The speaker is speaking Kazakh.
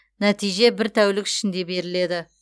нәтиже бір тәулік ішінде беріледі